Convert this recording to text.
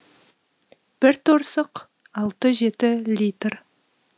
бір торсық алты жеті литр